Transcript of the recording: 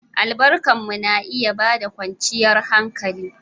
Albarku na iya ba da kwanciyar hankali.